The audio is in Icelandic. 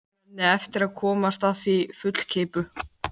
Menn eiga eftir að komast að því fullkeyptu.